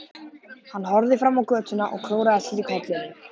Hann horfði fram á götuna og klóraði sér í kollinum.